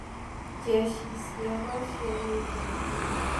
Jeshi cia Rasia nĩ njũru mũno.